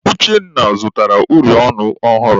Uchenna zụtara uri ọnụ ọhụrụ.